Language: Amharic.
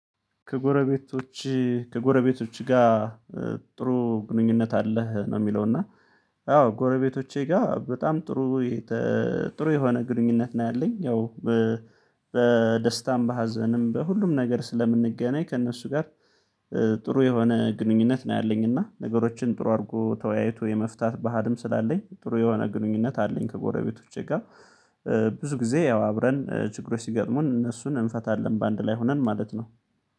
ከጎረቤቶቼ ከጎረቤቶች ጋር ጥሩ ግንኙነት አለህ ነው የሚለው? እና አዎ ጎረቤቶቼ ጋር በጣም ጥሩ ጥሩ የሆነ ግንኙነት ነው ያለኝ። ያው በደስታም በሀዘንም በሁሉም ነገር ስለምንገናኝ ከእነሱ ጋር ጥሩ የሆነ ግንኙነት ነው ያለኝ። እና ነገሮችን ጥሩ አድርጎ ተወያይቶ የመፍታት ባህልም ስላለኝ ጥሩ የሆነ ግንኙነት አለኝ። ከጎረቤቶቼ ጋር ብዙ ጊዜ ያው አብረን ችግሮች ሲገጥሙን እነሱን እንፈታለን በአንድ ላይ ሆነን ማለት ነው።